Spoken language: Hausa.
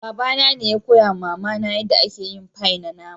Baba na ne ya koya ma mama na yada ake yin fie na nama.